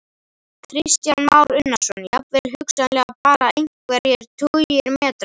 Kristján Már Unnarsson: Jafnvel hugsanlega bara einhverjir tugir metra?